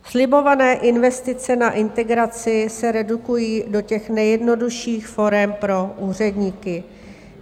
Slibované investice na integraci se redukují do těch nejjednodušších forem pro úředníky.